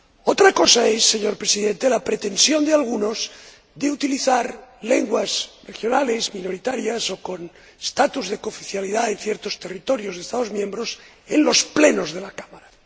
Otra cosa es, señor Presidente, la pretensión de algunos de utilizar lenguas regionales, minoritarias o con estatus de cooficialidad en ciertos territorios de Estados miembros en los Plenos de la Cámara.